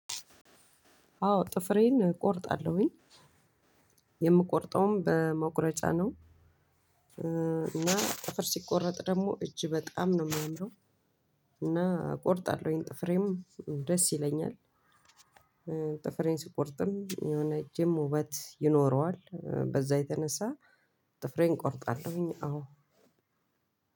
አዎ ጥፍሬን እቆርጣለሁኝ የምቆርጠውም በመቁረጫ ነው። እና ጥፍር ሲቆረጥ ደግሞ እጅ በጣም ነው የሚያምረው እና እቆርጣለሁ ጥፍሬም ደስ ይለኛል። ጥፍሬን ስቆርጥም የሆነ እጄም ውበት ይኖረዋል በዛ የተነሳ ጥፍሬን ቆርጣለሁኝ አዎ